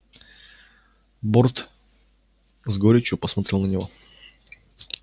борт с горечью посмотрел на него